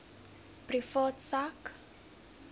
privaat sak